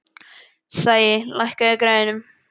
Sæi, lækkaðu í græjunum.